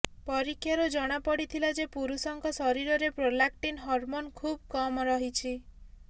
ପରୀକ୍ଷାରୁ ଜଣାପଡ଼ିଥିଲା ଯେ ପୁରୁଷଙ୍କ ଶରୀରରେ ପ୍ରୋଲାକ୍ଟିନ୍ ହରମୋନ୍ ଖୁବ୍ କମ୍ ରହିଛି